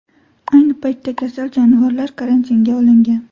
Ayni paytda kasal jonivorlar karantinga olingan.